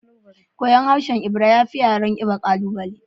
Koyon harshen Ebira ya fi yaren Igbo ƙalubale